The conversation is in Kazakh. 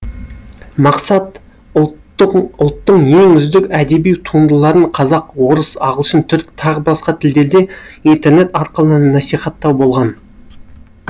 мақсат ұлттың ең үздік әдеби туындыларын қазақ орыс ағылшын түрік т б тілдерде интернет арқылы насихаттау болған